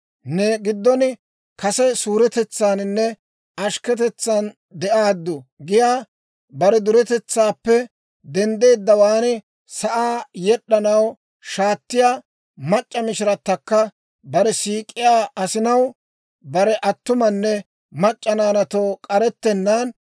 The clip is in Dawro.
Ne giddon kase suretetsaaninne ashikketetsaan de'aaddu giyaa, bare duretetsaappe denddeeddawaan sa'aa yed'd'anaw shaatettiyaa mac'c'a mishiratakka, bare siik'iyaa asinaw bare attumanne mac'c'a naanaatoo k'arettenaan,